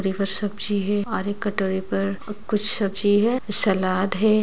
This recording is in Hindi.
और एक सब्जी है और एक कटोरे पे कुछ सब्जी है सलाद है।